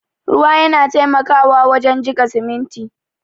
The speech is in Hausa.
Ruwa yana taimakawa wajen jika siminti.